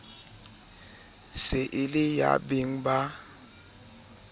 se e le yabeng ba